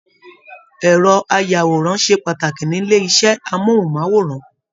Ẹrọ ayàwòrán ṣe pàtàkì nílé iṣẹ amohunmaworan.